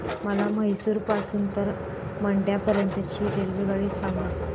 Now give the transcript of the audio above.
मला म्हैसूर पासून तर मंड्या पर्यंत ची रेल्वेगाडी सांगा